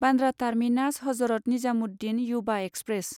Bandra terminus Hazrat Nizamuddin Yuva express